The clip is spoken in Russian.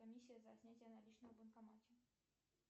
комиссия за снятие наличных в банкомате